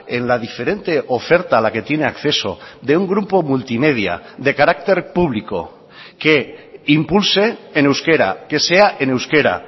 en la diferente oferta a la que tiene acceso de un grupo multimedia de carácter público que impulse en euskera que sea en euskera